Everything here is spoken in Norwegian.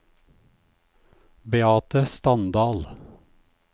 Beate Standal